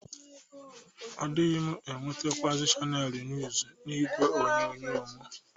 Adịghị m enwetekwa Chanelz Njuz n'igwe onyonyo mụ.